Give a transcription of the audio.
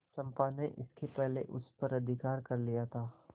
चंपा ने इसके पहले उस पर अधिकार कर लिया था